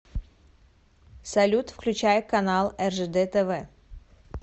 салют включай канал ржд тв